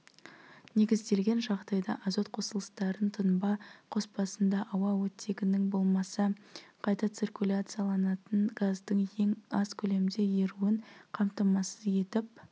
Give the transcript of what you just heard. негізделген жағдайда азот қосылыстарын тұнба қоспасында ауа оттегінің болмаса қайта циркуляцияланатын газдың ең аз көлемде еруін қамтамасыз етіп